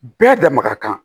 Bɛɛ da maga kan